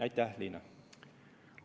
Aitäh, Liina!